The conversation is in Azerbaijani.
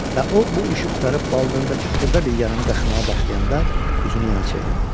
Və o bu işi qurtarıb baldırındakı xırda bir yaranı qaşımğa başlayanda üzünü yana çevirdi.